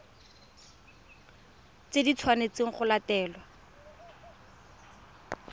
tse di tshwanetsweng go latelwa